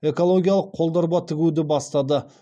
экологиялық қол дорба тігуді бастады